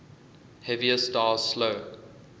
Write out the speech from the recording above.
heavier stars slow